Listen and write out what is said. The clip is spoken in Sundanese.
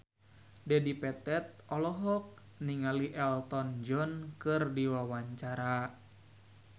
Dedi Petet olohok ningali Elton John keur diwawancara